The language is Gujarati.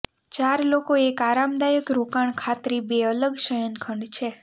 ચાર લોકો એક આરામદાયક રોકાણ ખાતરી બે અલગ શયનખંડ છે